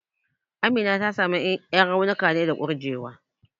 Amina ta samu ƴan raunuka ne da kurjewa.